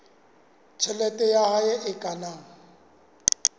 tjhelete ya hae e kenang